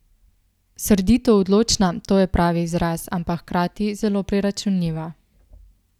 Srdito odločna, to je pravi izraz, ampak hkrati zelo preračunljiva.